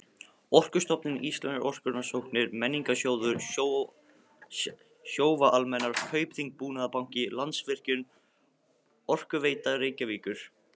Orkustofnun, Íslenskar orkurannsóknir, Menningarsjóður, Sjóvá-Almennar, Kaupþing-Búnaðarbanki, Landsvirkjun, Orkuveita Reykjavíkur